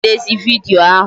A na m edezi vidiyo ahụ